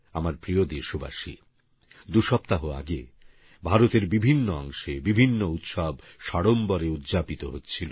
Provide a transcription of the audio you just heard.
আমার প্রিয় দেশবাসী দু সপ্তাহ আগে ভারতের বিভিন্ন অংশে বিভিন্ন উৎসব সাড়ম্বরে উদযাপিত হচ্ছিল